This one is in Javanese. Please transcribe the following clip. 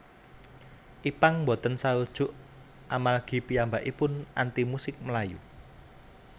Ipank boten sarujuk amargi piyambakaipun anti musik melayu